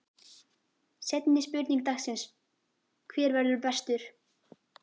Seinni spurning dagsins: Hver verður bestur?